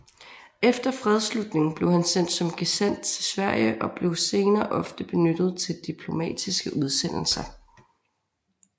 Efter fredsslutningen blev han sendt som gesandt til Sverige og blev senere ofte benyttet til diplomatiske udsendelser